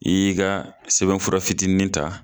I y'i ka sɛbɛnfura fitinin ta